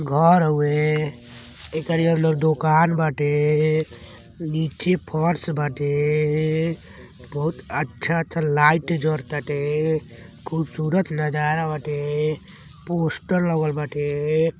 घर हउवे। एकरी अंदर दुकान बाटे। नीचे फर्श बाटे। बहोत अच्छा-अच्छा लाइट जर ताटे। खूबसूरत नज़रा बाटे। पोस्टर लगल बाटे।